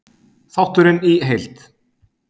Þátturinn í heild: